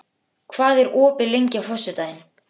Júlíhuld, hvað er opið lengi á föstudaginn?